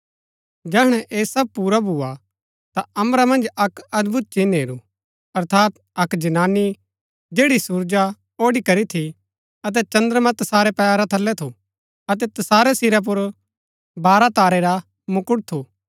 जैहणै ऐह सब पुरा भूआ ता अम्बरा मन्ज अक्क अदभुत चिन्ह हेरू अर्थात अक्क जनानी जैड़ी सुरजा ओढ़ी करी थी अतै चद्रमां तसारै पैरा थलै थू अतै तसारै सिरा पुर बारह तारै रा मुकुट थू